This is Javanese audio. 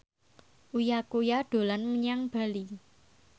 Uya Kuya dolan menyang Bali